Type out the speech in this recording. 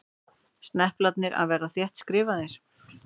Sneplarnir að verða þéttskrifaðir.